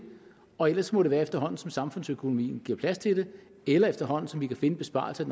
og ellers må det være efterhånden som samfundsøkonomien giver plads til det eller efterhånden som vi kan finde besparelser i